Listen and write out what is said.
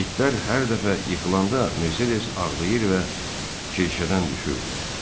İtlər hər dəfə yıxılanda Mercedes ağlayır və çirkəkdən düşürdü.